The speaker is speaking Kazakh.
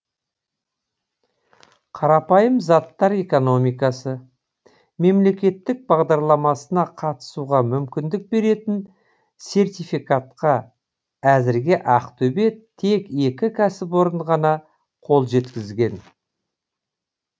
қарапайым заттар экономикасы мемлекеттік бағдарламасына қатысуға мүмкіндік беретін сертификатқа әзірге ақтөбеде тек екі кәсіпорын ғана қол жеткізген